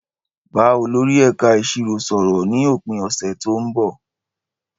Bá olórí ẹ̀ka ìṣirò sọ̀rọ̀ ní òpin ọ̀sẹ̀ tó ń bọ̀.